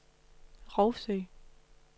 Rougsø